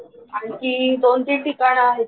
आणखी दोन तीन ठिकाणं आहेत